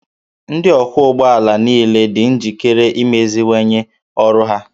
Ndị ọkwọ ụgbọ ala niile dị njikere imeziwanye ọrụ ha